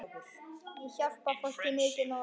Ég hjálpa fólki mikið núna.